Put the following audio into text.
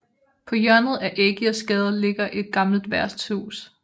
På hjørnet af Ægirsgade ligger et gammelt værtshus